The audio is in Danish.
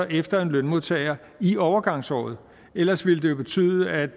efter en lønmodtager i overgangsåret ellers ville det jo betyde at